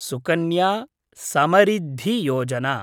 Sukanya Samriddhi Yojana